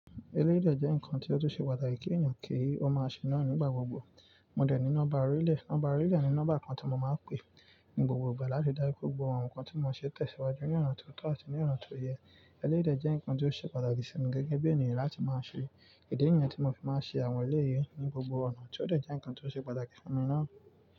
Eléjo jẹ́ nǹkan tí ó tún ṣe pàtàkì kí ènìyàn kí ó máa ṣe náà nígbà gbogbo. Mo dẹ̀ ní nọ́mbà orílẹ̀, nọ́mbà orílẹ̀ ni nọ́mbà kan tí mo máa ń pè ní gbogbo ìgbà láti dá rí gbogbo àwọn nǹkan tí mo ṣe tẹ̀síwájú ní ọ̀nà tó tọ́ àti ní ọ̀nà tó yẹ. Elérìí jẹ́ nǹkan tí ó ṣe pàtàkì sí mi gẹ́gẹ́ bí ènìyàn láti máa ṣe. Idi niyen tí mo fi máa ń ṣe àwọn eléyi ní gbogbo ọ̀nà tí ó dẹ̀ jẹ́ nǹkan tí ó ṣe pàtàkì fún mi náà.